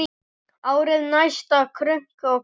Árið næsta, krunk og krá!